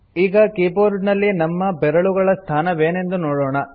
ಈಗ ಕೀಬೋರ್ಡಿನಲ್ಲಿ ನಮ್ಮ ಬೆರಳುಗಳ ಸ್ಥಾನವೇನೆಂದು ನೋಡೋಣ